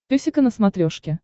песика на смотрешке